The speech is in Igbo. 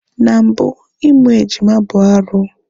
Na mbụ, Ịmụ ejima bụ arụ.